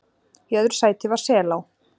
Í öðru sæti var Selá